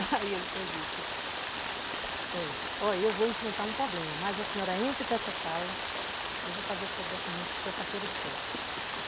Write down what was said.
Aí ele foi e disse...Eh, olhe, eu vou enfrentar um problema, mas a senhora entra para essa sala que eu vou fazer seu documento, sua carteira de pesca.